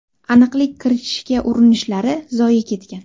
Aniqlik kiritishga urinishlari zoye ketgan.